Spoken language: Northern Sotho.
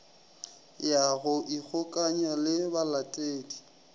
ya go ikgokanya le balatedi